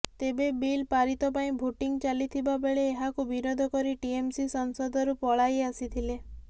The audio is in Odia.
ତେବେ ବିଲ୍ ପାରିତ ପାଇଁ ଭୋଟିଂ ଚାଲିଥିବାବେଳେ ଏହାକୁ ବିରୋଧ କରି ଟିଏମସି ସଂସଦରୁ ପଳାଇ ଆସିଥିଲେ